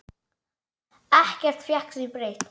Ekkert fékk því breytt.